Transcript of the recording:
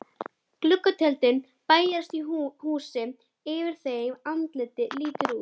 Gluggatjöld bærast í húsi yfir þeim, andlit lítur út.